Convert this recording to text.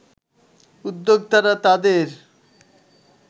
উদ্যোক্তারা তাদের